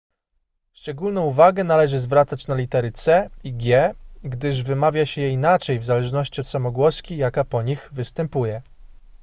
szczególną uwagę należy zwracać na litery c i g gdyż wymawia się je inaczej w zależności od samogłoski jaka po nich występuje